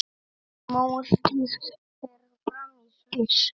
Mótið fer fram í Sviss.